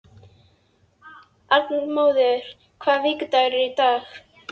Arnmóður, hvaða vikudagur er í dag?